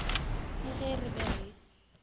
le ge re be re